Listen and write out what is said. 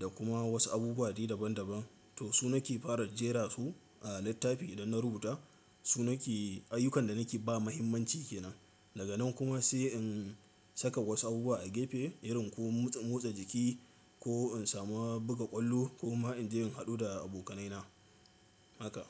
da kuma wasu abubuwa dai daban daban. To su nake fara jera su a littafi idan na rubuta. Su nake ayyukan da nake ba muhimmanci ke nan. Daga nan kuma sai in saka wasu abubuwa a gefe irin ko motsa jiki ko in samu buga ƙwallo ko ma in je in haɗu da abokanaina. Haka.